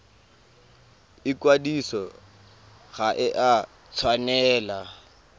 ikwadiso ga e a tshwanela